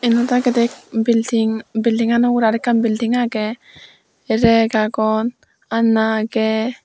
iyot agedey building buildingano ugurey aro ekkan building agey rag agon aana agey.